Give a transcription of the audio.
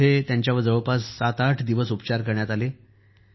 इथं त्यांच्यावर जवळपास ७८ दिवस उपचार करण्यात आले